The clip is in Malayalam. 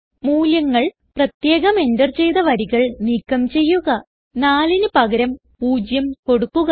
മൂല്യങ്ങൾ പ്രത്യേകം എന്റർ ചെയ്ത വരികൾ നീക്കം ചെയ്യുക4ന് പകരം 0 കൊടുക്കുക